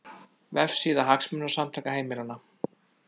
Vefsíða Hagsmunasamtaka heimilanna